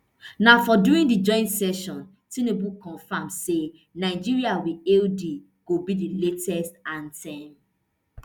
na for during di joint session tinubu confam say nigeria we hail thee go be di latest anthem